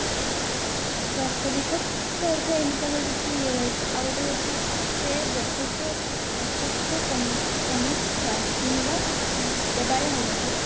ପ୍ରାସ୍ତବିକ ହୋଇଥାଏ ଏମିତି ତାଙ୍କର କିଛି ଇଏ ରହିଛି ଆଉ ଗୋଟେ ହଉଛି ସେ ବକୃତ ବକ୍ତୁତ୍ଵ ସମ ସମୀକ୍ଷା କିମ୍ବା ଦେବାଳିଆ ହୋଇନଥିବ